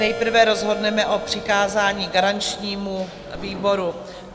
Nejprve rozhodneme o přikázání garančnímu výboru.